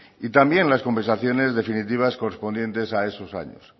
y también las compensaciones definitivas correspondientes a esos años